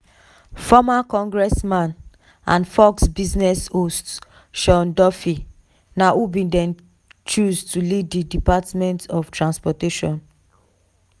former congressman and fox business host sean duffy na who bin dey chosen to lead di department of transportation.